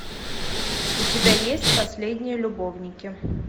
у тебя есть последние любовники